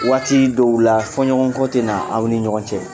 Waati dɔw la fɔɲɔgɔnkɔ tɛ na aw ni ɲɔgɔn cɛ